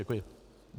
Děkuji.